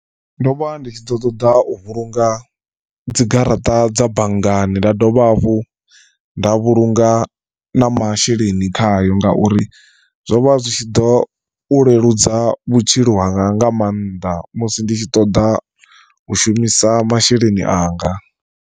Ndo vha ndi tshi ḓo ṱoḓa u vhulunga dzigaraṱa dza banngani nda dovha hafhu nda vhulunga na masheleni khayo ngauri zwo vha zwi tshi ḓo u leludza vhutshilo hanga nga maanḓa musi nditshi ṱoḓa u shumisa masheleni anga.